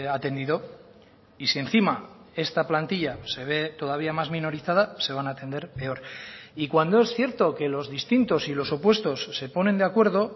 atendido y si encima esta plantilla se ve todavía más minorizada se van a atender peor y cuando es cierto que los distintos y los opuestos se ponen de acuerdo